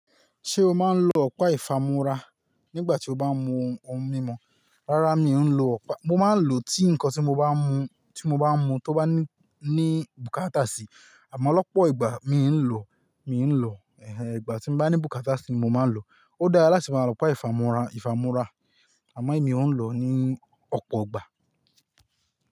Ṣé o máa ń lo ọ̀pá ìfámúrá nígbà tí o bá ń mu ohun mímu? Rárá mi ò ń lo ọ̀pá, mo máa ń lo tí nǹkan tí mo bá mú, tí mo bá mú tó bá ní, ní bùkátà sì. Àmọ́ lọ́pọ̀ ìgbà mi ń lo, mi ń lo, ẹhẹ, ìgbà tí mo bá ní bùkátà sì ni mo máa ń lo. Ó dára láti máa lo ọ̀pá ìfámúrá, ìfámúrá, àmọ́ mi ò ń lo ní ọ̀pọ̀ ìgbà.